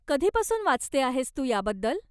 कधीपासून वाचते आहेस तू याबद्दल?